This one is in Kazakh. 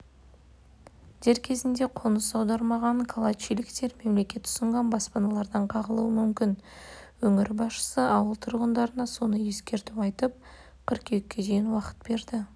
дер кезінде қоныс аудармаған калачиліктер мемлекет ұсынған баспаналардан қағылуы мүмкін өңір басшысы ауыл тұрғындарына соңғы ескерту айтып қыркүйекке дейін уақыт берді